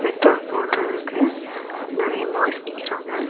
Petrol போடுறதுக்கு நெறைய boys நிக்குரான்க.